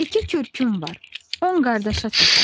İki kürküm var, on qardaşa çatar.